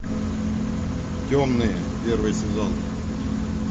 темные первый сезон